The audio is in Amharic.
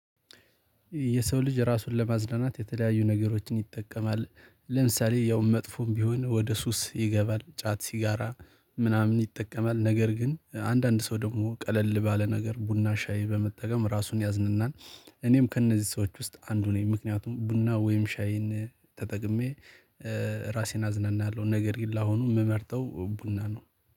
የሰው ልጅ ራሱን ለማዝናናት የተለያዩ ነገሮችን ይጠቀማል። ለምሳሌ ያው መጥፎም ቢሆን ወደ ሱስ ይገባል። ጫት፣ ሲጋራ ምናምን ይጠቀማል ነገር ግን አንዳንድ ሰው ደግሞ ቀለል ባለ ነገር ቡና፣ ሻይ በመጠቀም ራሱን ያዝናናል። እኔም ከእነዚህ ሰዎች ውስጥ አንዱ ነኝ ምክንያቱም ቡና ወይም ሻይን ተጠቅሜ ራሴን አዝናናለሁ። ነገር ግን ለአሁኑ የምመርጠው ቡና ነው።